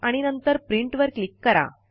आणि नंतर प्रिंट वर क्लिक करा